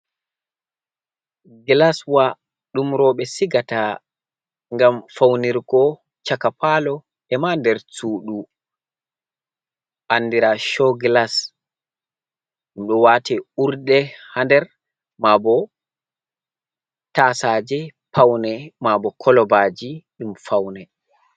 Gilaswa ɗum rowɓe sigata, ngam fawnirgo caka paalo e ma nder suudu, anndira coo gilas. Ɗum ɗo waate urde haa nder, maabo tasaaje pawne ,maabo kolobaaji ɗum fawne.